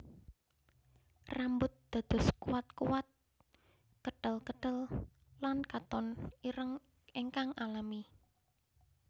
Rambut dados kuatkuat ketelketel lan katon ireng ingkang alami